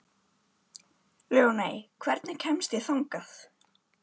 Ljóney, hvernig kemst ég þangað?